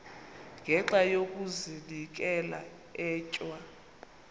ngenxa yokazinikela etywa